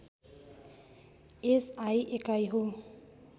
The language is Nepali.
एसआई एकाइ हो